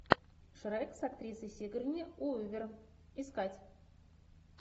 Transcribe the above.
шрек с актрисой сигурни уивер искать